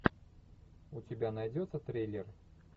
у тебя найдется триллер